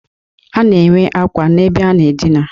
A na-enwe akwa n'ebe a na-adịna.